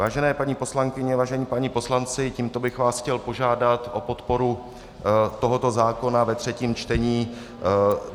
Vážené paní poslankyně, vážení páni poslanci, tímto bych vás chtěl požádat o podporu tohoto zákona ve třetím čtení.